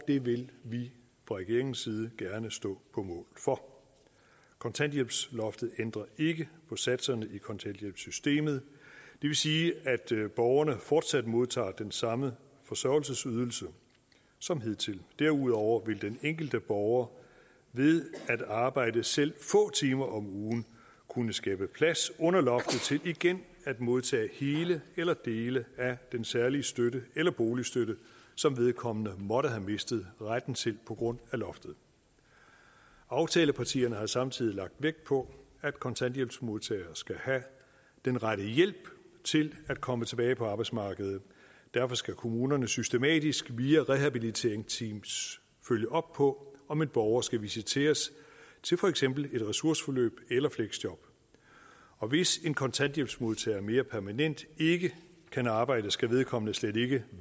vil vi fra regeringens side gerne stå på mål for kontanthjælpsloftet ændrer ikke på satserne i kontanthjælpssystemet det vil sige at borgerne fortsat modtager den samme forsørgelsesydelse som hidtil derudover vil den enkelte borger ved at arbejde selv få timer om ugen kunne skabe plads under loftet til igen at modtage hele eller dele af den særlige støtte eller boligstøtte som vedkommende måtte have mistet retten til på grund af loftet aftalepartierne har samtidig lagt vægt på at kontanthjælpsmodtagere skal have den rette hjælp til at komme tilbage på arbejdsmarkedet derfor skal kommunerne systematisk via rehabiliteringsteams følge op på om en borger skal visiteres til for eksempel et ressourceforløb eller fleksjob og hvis en kontanthjælpsmodtager mere permanent ikke kan arbejde skal vedkommende slet ikke